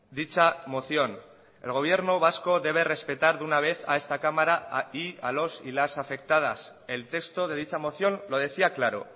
dicha moción el gobierno vasco debe respetar de una vez a esta cámara y a los y las afectadas el texto de dicha moción lo decía claro